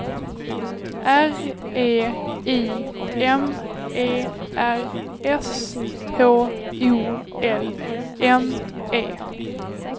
R E I M E R S H O L M E